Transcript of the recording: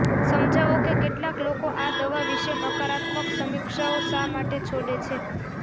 સમજાવો કે કેટલાક લોકો આ દવા વિશે નકારાત્મક સમીક્ષાઓ શા માટે છોડે છે